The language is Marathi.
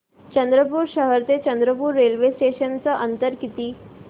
चंद्रपूर शहर ते चंद्रपुर रेल्वे स्टेशनचं अंतर किती